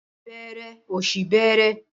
Ọmọ bẹẹrẹ, ọ̀ṣì bẹẹrẹ.